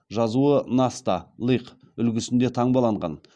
жазуы насталиқ үлгісінде таңбаланған